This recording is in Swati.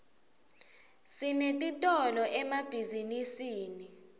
sinetitolo emabhizinisini